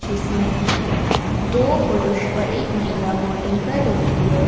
इसमें दो पुरुष और एक महिला वोटिंग कर रही है।